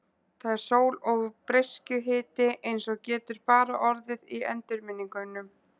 Það er sól og breiskjuhiti eins og getur bara orðið í endurminningum.